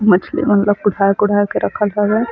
मंछली मन ल कोढ़ा-कोढ़ा के रखत हवे।